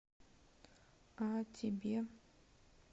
а тебе